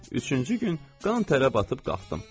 Üçüncü gün qan-tərə batıb qalxdım.